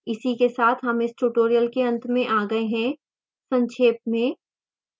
इसी के साथ हम इस tutorial के अंत में आ गए हैं संक्षेप में